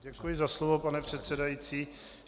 Děkuji za slovo, pane předsedající.